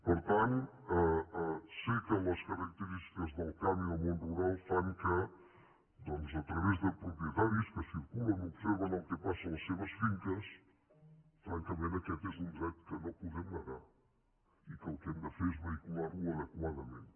per tant sé que les característiques del camp i del món rural fan que doncs a través de propietaris que circulen observen el que passa a les seves finques francament aquest és un dret que no podem negar i que el que hem de fer és vehicular ho adequadament